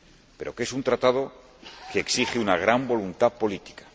Pero que es un Tratado que exige una gran voluntad política.